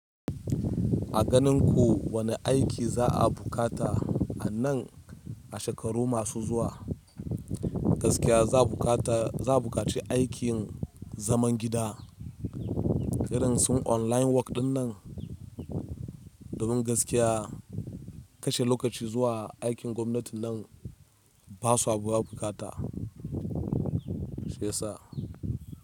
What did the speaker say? A ganin ku wani aiki za a bukata a nan a shekaru masu zuwa? Gaskiya za a buƙaci aikin zaman gida, kiransu online work ɗin nan. Domin gaskiya kashe lokaci zuwa aikin gwamnati nan ba sabuwar bukata shiyasa.